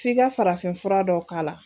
Fi ka farafin fura dɔ k'a la.